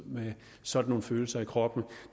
med sådan nogle følelser i kroppen